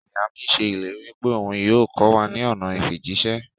Iya mi ṣe ileri pe oun yoo kọ wa ni ọna ifijiṣẹ.